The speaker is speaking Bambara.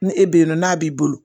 Ni e bɛ yennɔ n'a b'i bolo